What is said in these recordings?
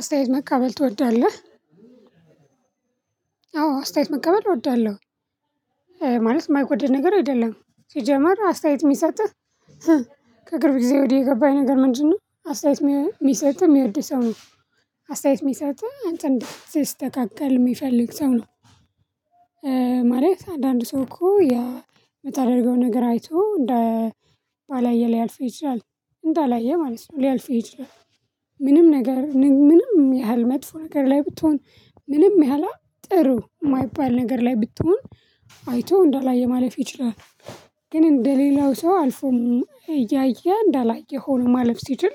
አስተያየት መቀበል ትወዳለህ አስተያየት መቀበል እወዳለሁ። ማለት የማይወደድ ነገር አይደለም ሲጀመር አስተያየት የሚሰጥህ ከቅርብ ጊዜ ወዲህ የገባኝ ነገር ምንድነው አስተያየት የሚሰጥህ የሚወድህ ሰው ነው? አስተያየት የሚሰጠህ አንተ እንድትስተካከል የሚፈልግ ሰው ነው። ማለት አንዳንድ ሰው እኮ የምታደርገው ነገር አይቶ እንደ ባላየ ሊያልፍ ይችላል እንደ አላየ ማለት ነው ሊያልፍህ ይችላል። ምንም ነገር ምንም ያህል መጥፎ ነገር ላይ ብትሆን ምንም ያህላ ጥሩ የማይባል ነገር ላይ ብትሆን አይቶ እንዳላየ ማለፍ ይችላል። ግን እንደሌላው ሰው አልፎ እያየ እንዳላየ ሆኖ ማለፍ ሲችል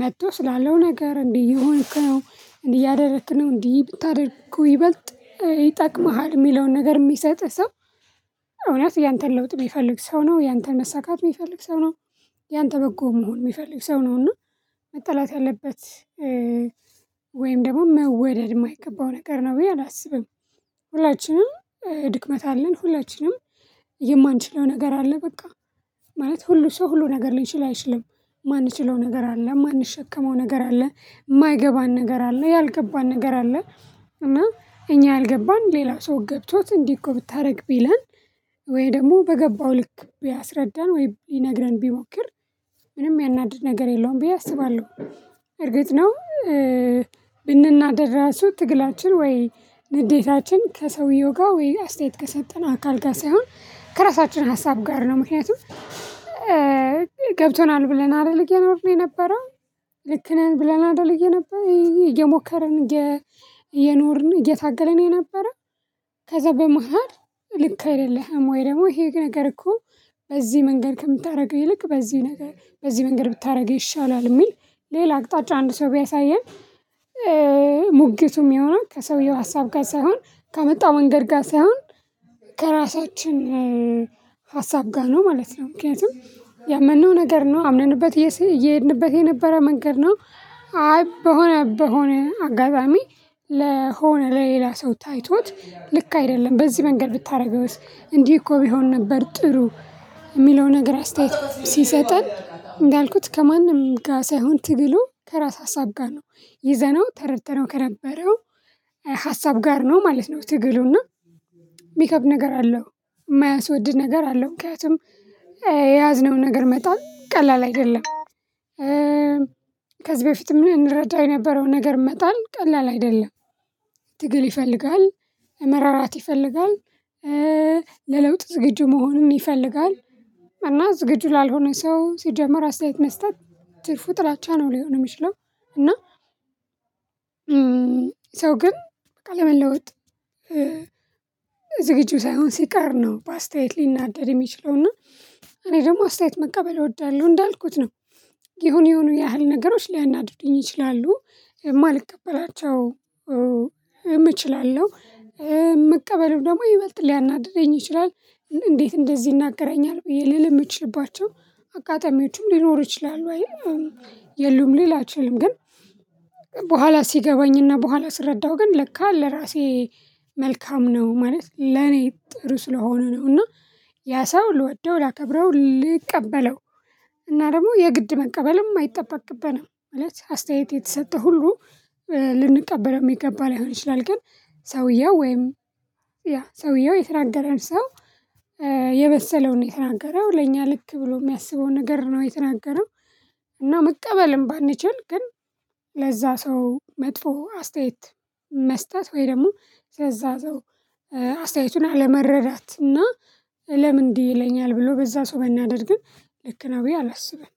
መጥቶ ስላለው ነገር እንዲህ የሆንክ ነው እንዲህ እያደረክ ነው እንዲህ ብታደርግ ይበልጥ ይጠቅምሃል የሚለውን ነገር የሚሰጥህ ሰው። እውነት ያንተን ለውጥ የሚፈልግ ሰው ነው ያንተን መሳካት የሚፈልግ ሰው ነው። ያንተ በጎ መሆን የሚፈልግ ሰው ነው እና መጠላት ያለበት ወይም ደግሞ መወደድ የማይገባው ነገር ነው ብዬ አላስብም። ሁላችንም ድክመት አለን ሁላችንም የማንችለው ነገር አለ። በቃ ማለት ሁሉ ሰው ሁሉ ነገር ሊችል አይችልም ማንችለው ነገር አለ ማንሸከመው ነገር አለ የማይገባን ነገር አለ ያልገባን ነገር አለ። እና እኛ ያልገባን ሌላ ሰው ገብቶት እንዲህ እኮ ብታደርግ ቢለን ወይ ደግሞ በገባው ልክ ቢያስረዳን ወይ ሊነግረን ቢሞክር ምንም ሚያናድድ ነገር የለውም ብዬ አስባለሁ። እርግጥ ነው። ብንናደድ ራሱ ትግላችን ወይ ንዴታችን ከሰውየው ጋር ወይ አስተያየት ከሰጠን አካል ጋር ሳይሆን ከራሳችን ሀሳብ ጋር ነው። ምክንያቱም ገብቶናል ብለን አደል እየኖርን የነበረው ልክ ነን ብለን አደል የነበር እየሞከርን እየ እየኖርን እየታገለን የነበረው። ከዛ በመሃል ልክ አይደለህም ወይ ደግሞ ይሄ ነገር እኮ በዚህ መንገድ ከምታደርገው ይልቅ በዚህ ነገር በዚህ መንገድ ብታደርገው ይሻላል የሚል ሌላ አቅጣጫ አንድ ሰው ቢያሳየን። ሙግቱ ሚሆነው ከሰውየው ሀሳብ ጋር ሳይሆን ከመጣው መንገድ ጋር ሳይሆን ከራሳችን ሀሳብ ጋር ነው ማለት ነው። ምክንያቱም ያመነው ነገር ነው አምነንበት እየሄድንበት የነበረ መንገድ ነው። አይ በሆነ በሆነ አጋጣሚ ለሆነ ለሌላ ሰው ታይቶት ልክ አይደለም በዚህ መንገድ ብታደርገውስ እንዲህ እኮ ቢሆን ነበር ጥሩ። የሚለው ነገር አስተያየት ሲሰጠን እንዳልኩት ከማንም ጋር ሳይሆን ትግሉ ከራስ ሀሳብ ጋር ነው ይዘነው ተረድተነው ከነበረው ሀሳብ ጋር ነው ማለት ነው። ትግሉና የሚከብድ ነገር አለው የማያስወድድ ነገር አለው ምክንያቱም የያዝነውን ነገር መጣል ቀላል አይደለም። ከዚህ በፊትም እንረዳ የነበረውን ነገር መጣል ቀላል አይደለም። ትግል ይፈልጋል መራራት ይፈልጋል። ለለውጥ ዝግጁ መሆንን ይፈልጋል። እና ዝግጁ ላልሆነ ሰው ሲጀመር አስተያየት መስጠት ትርፉ ጥላቻ ነው ሊሆን የሚችለው። እና ሰው ግን በቃ ለመለወጥ ዝግጁ ሳይሆን ሲቀር ነው ባስታየት ሊናደድ የሚችለው እና እኔ ደግሞ አስተያየት መቀበል እወዳለሁ እንዳልኩት ነው። የሆነ የሆኑ ያህል ነገሮች ሊያናድዱኝ ይችላሉ የማልቀበላቸው እችላለሁ መቀበሉ ደግሞ ይበልጥ ሊያናድደኝ ይችላል። እንዴት እንደዚህ ይናገረኛል ብዬ ልል የምችልባቸው አጋጣሚዎችም ሊኖር ይችላል። ወይም የሉም ሊል አይችልም ግን በኋላ ሲገባኝና በኋላ ስረዳው ግን ለካ ለራሴ መልካም ነው ማለት ለኔ ጥሩ ስለሆኑ ነው። እና ያ ሰው ልወደው ላከብረው ልቀበለው እና ደግሞ የግድ መቀበልም አይጠበቅብንም አለች አስተያየት የተሰጠው ሁሉ። ልንቀበለው የሚገባ ላይሆን ይችላል ግን ሰውየው ወይም ያ ሰውየው የተናገረን ሰው የበሰለውን የተናገረው ለእኛ ልክ ብሎ የሚያስበውን ነገር ነው የተናገረው። እና መቀበልም ባንችል ግን ለዛ ሰው መጥፎ አስተያየት መስጠት ወይ ደግሞ ለዛ ሰው አስተያየቱን አለመረዳት እና ለምን እንዲህ ይለኛል ብሎ በዛ ሰው መናደድ ግን ልክ ነው ብዬ አላስብም